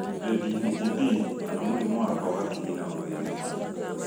ADHD kana mũrĩmũ wa kwaga kinyi na gũthĩnĩka